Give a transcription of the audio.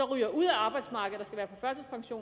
ryger ud af arbejdsmarkedet